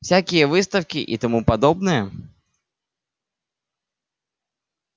всякие выставки и тому подобное